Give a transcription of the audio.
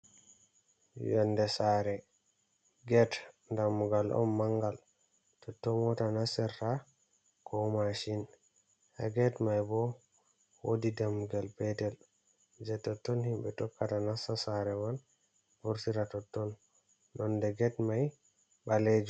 Yonde sare, get damugal on mangal, totto mota nastirta ko mashin. Ha get mai bo, wodi dammugal petel jei totton himɓe tokkata nasta sare man vurtira totton. Nonde get mai, ɓaleej.